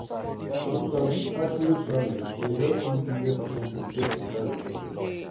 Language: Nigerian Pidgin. to sabi accurate farming dey help use less input get beta result.